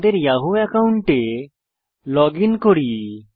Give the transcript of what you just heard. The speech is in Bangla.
আমাদের ইয়াহু অ্যাকাউন্টে লগইন করি